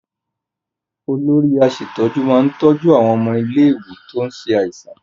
Olórí aṣètójú máa tọ́jú àwọn ọmọ ilé-ìwé tó ń ṣe àìsàn.